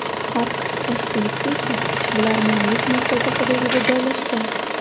Park Tashkent City ishbilarmonlik markazi hududida joylashgan.